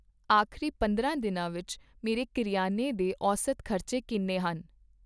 ਆਖ਼ਰੀ ਪੰਦਰਾਂ ਦਿਨਾਂ ਵਿੱਚ ਮੇਰੇ ਕਰਿਆਨੇ ਦੇ ਔਸਤ ਖ਼ਰਚੇ ਕਿੰਨੇ ਸਨ ?